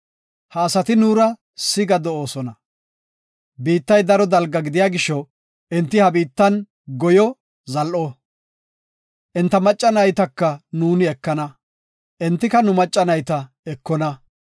“Ha asati nuura siga de7oosona. Biittay daro dalga gidiya gisho enti ha biittan goyo zal7o. Enta macca naytaka nuuni ekana, entika nu macca nayta ekona.